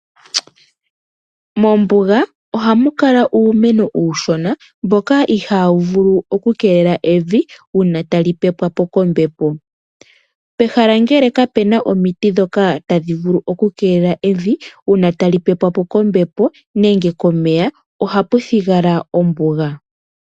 Mombuga oha mu kala uumeno uushona mboka iha wu vulu oku keelela evi uuna ta li pepwapo kombepo. Pehala ngele kapu na omiti ndhoka tadhi vulu oku keelela evi uuna ta li pepwapo kombepo nenge komeya oha pu thigala ombuga.